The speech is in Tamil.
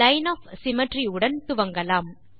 லைன் ஒஃப் சிம்மெட்ரி உடன் துவங்கலாம்